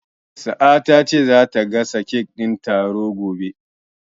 Sa'a ta ce zata gasa kek din taron gobe.